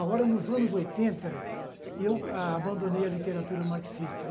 Agora, nos anos oitenta, eu abandonei a literatura marxista.